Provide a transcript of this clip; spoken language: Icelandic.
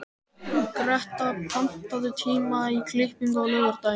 Greta, pantaðu tíma í klippingu á laugardaginn.